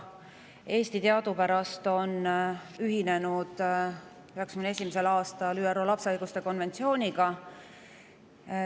Eesti on teadupärast 1991. aastal ühinenud ÜRO lapse õiguste konventsiooniga.